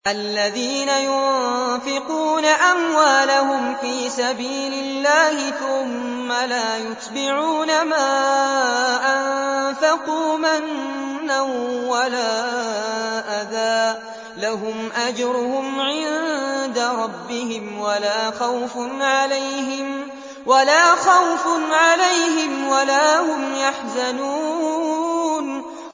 الَّذِينَ يُنفِقُونَ أَمْوَالَهُمْ فِي سَبِيلِ اللَّهِ ثُمَّ لَا يُتْبِعُونَ مَا أَنفَقُوا مَنًّا وَلَا أَذًى ۙ لَّهُمْ أَجْرُهُمْ عِندَ رَبِّهِمْ وَلَا خَوْفٌ عَلَيْهِمْ وَلَا هُمْ يَحْزَنُونَ